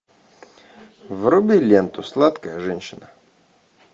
вруби ленту сладкая женщина